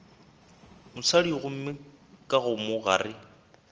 mosadi gomme ka mo gare